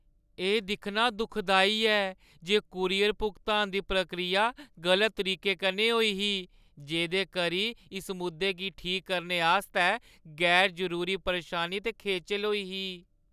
एह् दिक्खना दुखदाई ऐ जे कूरियर भुगतान दी प्रक्रिया गलत तरीके कन्नै होई ही, जेह्दे करी इस मुद्दे गी ठीक करने आस्तै गैर-जरूरी परेशानी ते खेचल होई ही।